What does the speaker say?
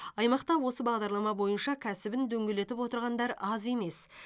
аймақта осы бағдарлама бойынша кәсібін дөңгелетіп отырғандар аз емес